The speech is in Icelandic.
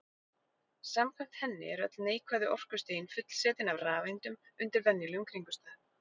Samkvæmt henni eru öll neikvæðu orkustigin fullsetin af rafeindum undir venjulegum kringumstæðum.